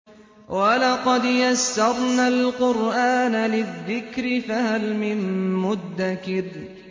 وَلَقَدْ يَسَّرْنَا الْقُرْآنَ لِلذِّكْرِ فَهَلْ مِن مُّدَّكِرٍ